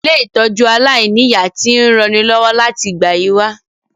Ilé-ìtójú aláìniya ti n ranilọ́wọ́ láti ìgbà yi wa